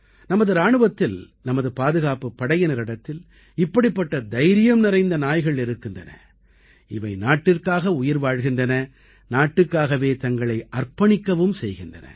நமது இராணுவத்தில் நமது பாதுகாப்புப் படையினரிடத்தில் இப்படிப்பட்ட தைரியம் நிறைந்த நாய்கள் இருக்கின்றன இவை நாட்டிற்காக உயிர் வாழ்கின்றன நாட்டுக்காகவே தங்களை அர்ப்பணிக்கவும் செய்கின்றன